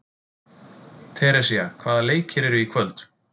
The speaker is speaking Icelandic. Teresía, hvaða leikir eru í kvöld?